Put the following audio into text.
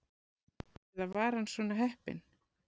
Eða var hann svo heppinn?